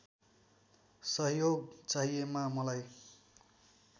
सहयोग चाहिएमा मलाई